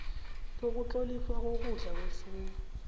sokutloliswa kokudla kwefuyo